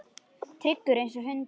Tryggur einsog hundur.